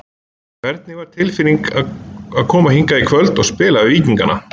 Hvernig var tilfinning að koma hingað í kvöld að spila við Víkingana?